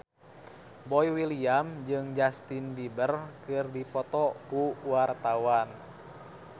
Boy William jeung Justin Beiber keur dipoto ku wartawan